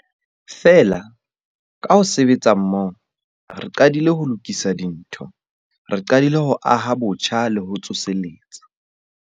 Feela, ka ho sebetsa mmoho, re qadile ho lokisa dintho. Re qadile ho aha botjha le ho tsoseletsa.